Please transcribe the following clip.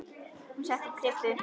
Hún setti upp kryppu.